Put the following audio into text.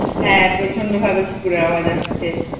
হ্যাঁ প্রচন্ডভাবে কুকুরের আওয়াজ আসছে।